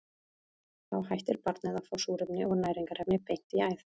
Þá hættir barnið að fá súrefni og næringarefni beint í æð.